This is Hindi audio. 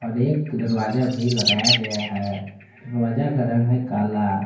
और एक दरवाजा भी लगाया गया है उस दरवाजा का रंग है काला।